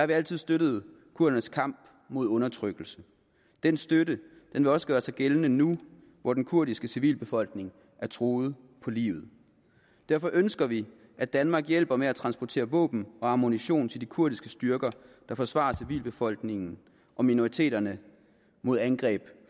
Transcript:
vi altid støttet kurdernes kamp mod undertrykkelse den støtte vil også gøre sig gældende nu hvor den kurdiske civilbefolkning er truet på livet derfor ønsker vi at danmark hjælper med at transportere våben og ammunition til de kurdiske styrker der forsvarer civilbefolkningen og minoriteterne mod angreb